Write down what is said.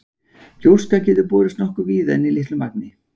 Gjóska getur borist nokkuð víða en í litlu magni.